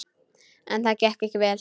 En það gekk ekki vel.